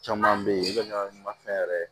Caman be ye u be na ni mafɛn yɛrɛ ye